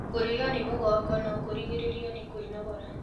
Kũrĩo nĩ mũgongo nokũrĩgĩririo nĩ kwĩnogora